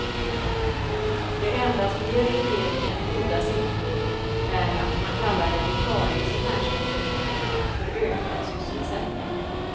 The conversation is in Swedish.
Det enda som ger regeringen goda siffror är att man kallar en vikarie som ersätter en sjuk, för ökad sysselsättning.